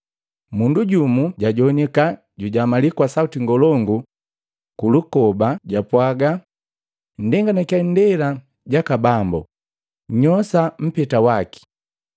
Mundu jumu jajoanika jujamalii kwa sauti ngolongu pulukoba jakapwaga, ‘Nndenganikya indela jaka Bambo, nnyoosha mpeta waki!’ ”